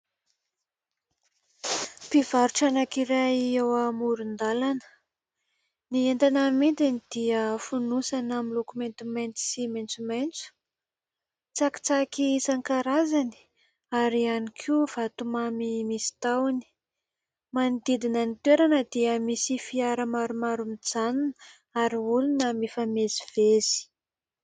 Mpivarotra anankiray eo amoron-dalana. Ny entana amidiny dia fonosana miloko maintimainty sy maintsomaintso, tsakitsaky isan-karazany ary ihany koa vatomamy misy tahony. Manodidina ny toerana dia misy fiara maromaro mijanona ary olona mifamezivezy.